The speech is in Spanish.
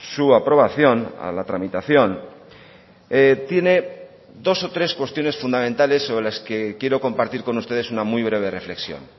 su aprobación a la tramitación tiene dos o tres cuestiones fundamentales sobre las que quiero compartir con ustedes una muy breve reflexión